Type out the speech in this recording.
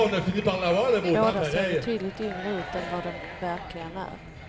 Båda ser betydligt yngre ut än vad de verkligen är.